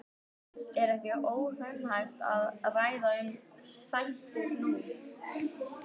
Er ekki óraunhæft að ræða um sættir nú?